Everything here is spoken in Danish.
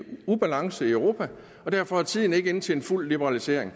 ubalance i europa og derfor er tiden ikke inde til en fuld liberalisering